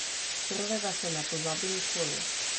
Prvega se ne pozabi nikoli!